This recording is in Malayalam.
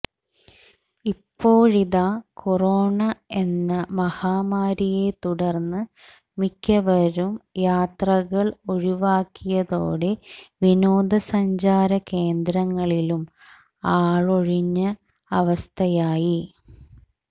ഇപ്പോഴിതാ കൊറോണ എന്ന മഹാമാരിയെ തുടർന്ന് മിക്കവരും യാത്രകൾ ഒഴിവാക്കിയതോടെ വിനോദസഞ്ചാരകേന്ദ്രങ്ങളിലും ആളൊഴിഞ്ഞ അവസ്ഥയായി